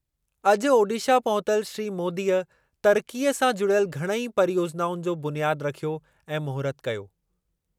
अॼु ओडिशा पहुतल श्री मोदीअ तरक़ीअ सां जुड़ियल घणई परियोजिनाउनि जो बुनियाद रखियो ऐं महूरतु कयो।